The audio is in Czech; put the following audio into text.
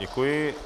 Děkuji.